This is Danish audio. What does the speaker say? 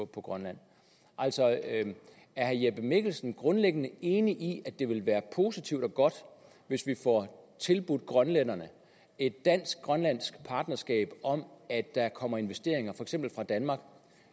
grønland altså er herre jeppe mikkelsen grundlæggende enig i at det vil være positivt og godt hvis vi får tilbudt grønlænderne et dansk grønlandsk partnerskab om at der kommer investeringer for eksempel fra danmark